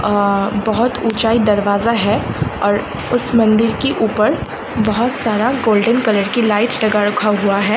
अअअ बहोत ऊँचाई दरवाजा है और उस मंदिर के ऊपर बहोत सारा गोल्डन कलर की लाइट लगा रक्खा हुवा है।